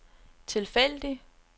tilfældig